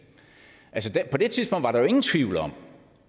på det tidspunkt var der jo ingen tvivl om